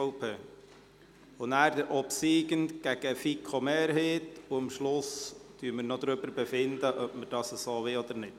Danach folgt der Obsiegende gegen die FiKo-Mehrheit, und am Schluss werden wir noch darüber befinden, ob wir das so wollen oder nicht.